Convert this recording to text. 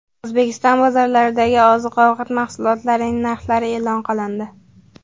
O‘zbekiston bozorlaridagi oziq-ovqat mahsulotlarning narxlari e’lon qilindi.